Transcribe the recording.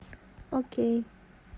окей